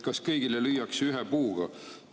Kas kõigile lüüakse ühe puuga?